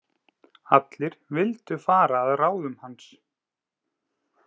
Allir vildu fara að ráðum hans.